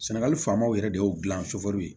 Sɛnɛgali fanbaw yɛrɛ de y'o gilan